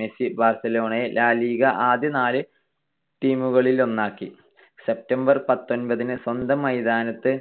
Messi ബാർസലോണയെ La Liga ആദ്യ നാല് team കളിലൊന്നാക്കി. September പത്തൊൻപതിന് സ്വന്തം മൈതാനത്ത്